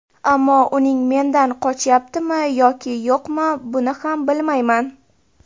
Ammo uning mendan qochyaptimi yoki yo‘q buni ham bilmayman.